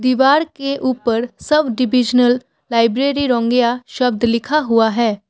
दीवार के ऊपर सब डिविजिनल लाइब्रेरी रंगिया शब्द लिखा हुआ है।